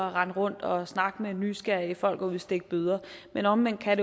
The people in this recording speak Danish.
at rende rundt og snakke med nysgerrige folk og udstikke bøder men omvendt kan